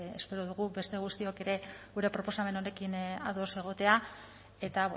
espero dugu beste guztiok ere gure proposamen honekin ados egotea eta